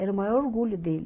Era o maior orgulho dele.